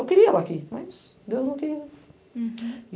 Eu queria ir aqui, mas Deus não queria. Uhum